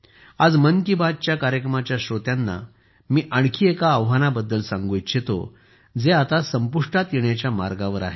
आज मन की बात कार्यक्रमाच्या श्रोत्यांना मी आणखी एका आव्हानाबद्दल सांगू इच्छितो जे आता संपुष्टात येण्याच्या मार्गावर आहे